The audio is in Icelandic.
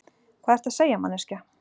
Hvað ertu að segja, manneskja?